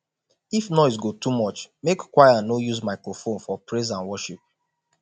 if noise go too much mek choir no use microphone for praise and worship